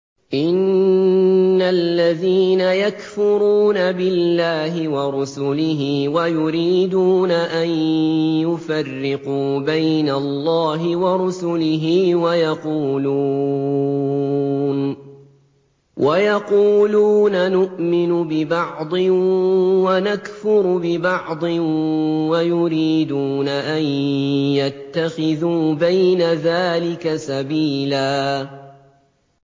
إِنَّ الَّذِينَ يَكْفُرُونَ بِاللَّهِ وَرُسُلِهِ وَيُرِيدُونَ أَن يُفَرِّقُوا بَيْنَ اللَّهِ وَرُسُلِهِ وَيَقُولُونَ نُؤْمِنُ بِبَعْضٍ وَنَكْفُرُ بِبَعْضٍ وَيُرِيدُونَ أَن يَتَّخِذُوا بَيْنَ ذَٰلِكَ سَبِيلًا